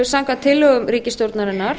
samkvæmt tillögum ríkisstjórnarinnar